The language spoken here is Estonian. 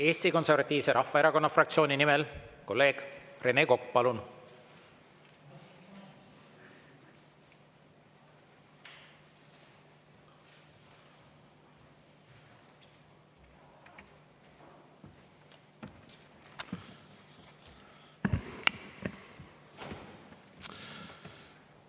Eesti Konservatiivse Rahvaerakonna fraktsiooni nimel kolleeg Rene Kokk, palun!